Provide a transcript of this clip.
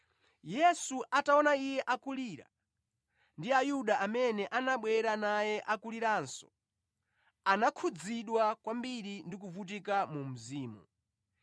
Yesu ataona iye akulira, ndi Ayuda amene anabwera naye akuliranso, anakhudzidwa kwambiri ndi kuvutika mu mzimu.